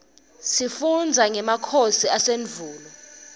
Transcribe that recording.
sifundza ngemakhosi asendvulo